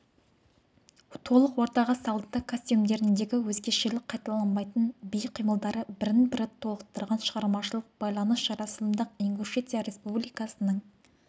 толық ортаға салынды костюмдеріндегі өзгешелік қайталанбайтын би қимылдары бірін-бірі толықтырған шығармашылық байланыс жарасымды-ақ ингушетия республикасының